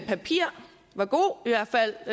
papir var god i hvert fald